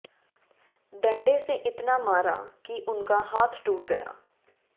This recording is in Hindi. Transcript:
डंडे से इतना मारा कि उनका हाथ टूट गया